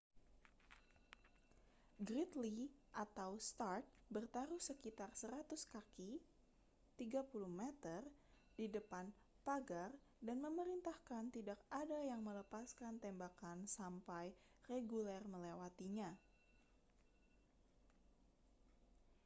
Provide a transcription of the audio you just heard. gridley atau stark bertaruh sekitar 100 kaki 30 m di depan pagar dan memerintahkan tidak ada yang melepaskan tembakan sampai reguler melewatinya